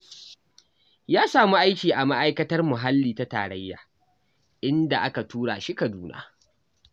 Ya samu aiki a Ma'aikatar Muhalli ta Tarayya, inda aka tura shi Kaduna.